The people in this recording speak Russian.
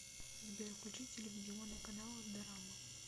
сбер включи телевизионный канал дорама